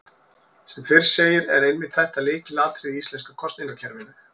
Sem fyrr segir er einmitt þetta lykilatriði í íslenska kosningakerfinu.